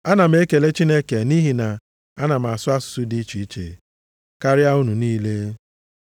Ana m ekele Chineke nʼihi na ana m asụ asụsụ dị iche iche + 14:18 Nke bụ ịsụ nʼire karịa unu niile.